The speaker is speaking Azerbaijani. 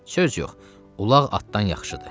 Söz yox, ulaq atdan yaxşıdır.